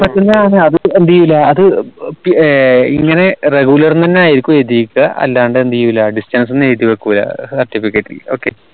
അതെ എന്തേയില്ല അത് ഇങ്ങനെ regular ന്നെനായിരിക്കും എഴുതീക്ക അല്ലാണ്ട് എന്തെയ്യൂല distance എന്ന് എഴുതി വെക്കൂല certificate ൽ okay